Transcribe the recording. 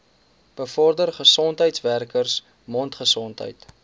bevorder gesondheidswerkers mondgesondheid